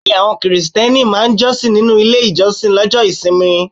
Bẹ́ẹ̀ni, àwọn Krìsìtẹ́nì máa ń jọ́sìn nínú ilé ìjọsìn Lọ́jo ìsinmi